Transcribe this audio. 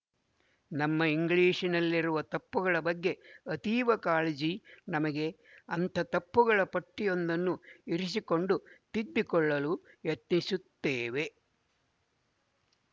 ನಮ್ಮ ಇಂಗ್ಲಿಶಿನಲ್ಲಿರುವ ತಪ್ಪುಗಳ ಬಗ್ಗೆ ಅತೀವ ಕಾಳಜಿ ನಮಗೆ ಅಂಥ ತಪ್ಪುಗಳ ಪಟ್ಟಿಯೊಂದನ್ನು ಇರಿಸಿಕೊಂಡು ತಿದ್ದಿಕೊಳ್ಳಲು ಯತ್ನಿಸುತ್ತೇವೆ